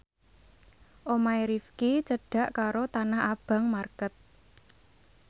omahe Rifqi cedhak karo Tanah Abang market